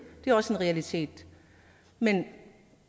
det er også en realitet men